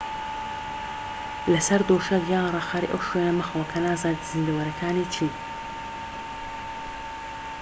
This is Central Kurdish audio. لەسەر دۆشەک یان ڕاخەری ئەو شوێنە مەخەوە کە نازانیت زیندەوەرەکانی چین